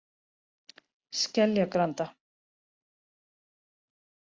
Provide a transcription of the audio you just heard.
Skeljagranda